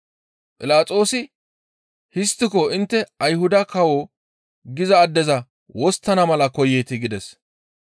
Philaxoosi, «Histtiko intte Ayhuda kawo giza addeza wosttana mala koyeetii?» gides.